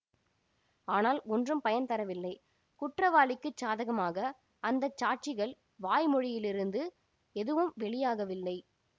ஆனால் ஒன்றும் பயன் தரவில்லை குற்றவாளிக்குச் சாதகமாக அந்த சாட்சிகள் வாய் மொழியிலிருந்து எதுவும் வெளியாகவில்லை